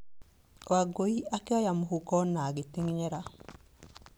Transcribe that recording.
Wangũi akĩoya mũhuko na agĩtenyera.